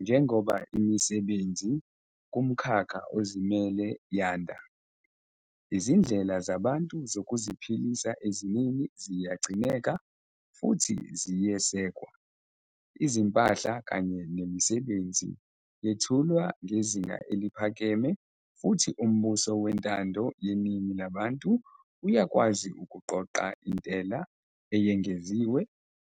Njengoba imisebenzi kumkhakha ozimele yanda, izindlela zabantu zokuziphilisa eziningi ziyagcineka futhi ziyesekwa. Izimpahla kanye nemisebenzi yethulwa ngezinga eliphakeme futhi umbuso wentando yeningi labantu uyakwazi ukuqoqa intela eyengeziwe